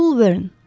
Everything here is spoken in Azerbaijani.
Jül Bern.